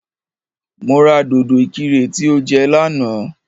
Mo ra dòdò ìkirè tí o jẹ lánàá